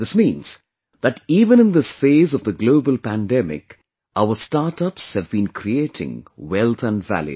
This means that even in this phase of the global pandemic, our startups have been creating wealth and value